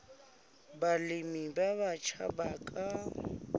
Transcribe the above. balemi ba batjha ba ka